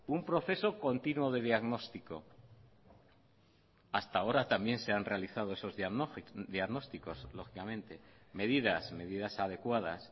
un proceso continuo de diagnóstico hasta ahora también se han realizado esos diagnósticos lógicamente medidas medidas adecuadas